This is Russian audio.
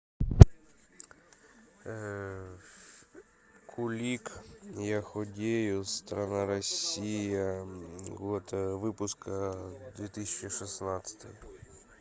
кулик я худею страна россия год выпуска две тысячи шестнадцатый